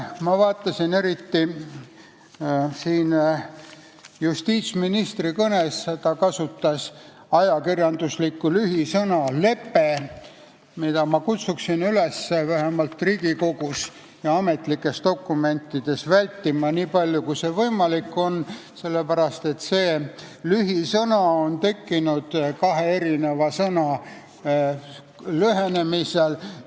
Ma vaatasin, et eriti justiitsminister oma kõnes kasutas ajakirjanduslikku lühisõna "lepe", mida ma kutsuksin üles vähemalt Riigikogus ja ametlikes dokumentides vältima, niipalju kui see võimalik on, sest see lühisõna on tekkinud kahe sõna lühendamise teel.